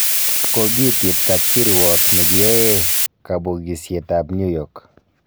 Kogiitit kapkiruok negiyoe kapogisiet ab New York.